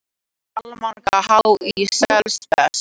Almanak HÍ selst best